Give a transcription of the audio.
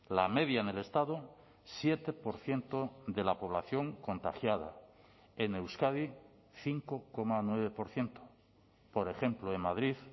la media en el estado siete por ciento de la población contagiada en euskadi cinco coma nueve por ciento por ejemplo en madrid